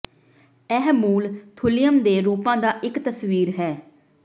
ਇਹ ਮੂਲ ਥੁਲਿਅਮ ਦੇ ਰੂਪਾਂ ਦਾ ਇੱਕ ਤਸਵੀਰ ਹੈ